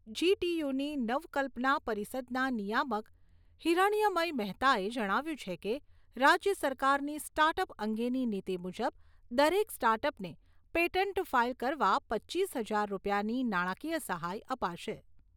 GTU. ની નવકલ્પના પરિષદના નિયામક હિરણ્મય મહેતાએ જણાવ્યું છે કે રાજ્ય સરકારની સ્ટાર્ટ અપ અંગેની નિતી મુજબ દરેક સ્ટાર્ટ અપને પેટન્ટ ફાઇલ કરવા પચીસ હજાર રૂપિયાની નાણાકીય સહાય અપાશે.